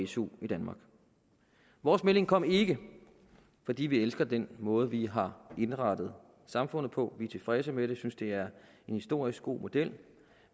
su i danmark vores melding kommer ikke fordi vi elsker den måde vi har indrettet samfundet på vi er tilfredse med det vi synes det er en historisk god model